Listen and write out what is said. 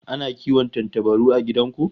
Ana kiwon tantabaru a gidan ku?